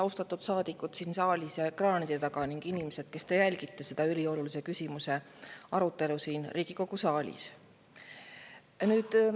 Austatud saadikud siin saalis ja ekraanide taga ning inimesed, kes te jälgite selle üliolulise küsimuse arutelu siin Riigikogu saalis!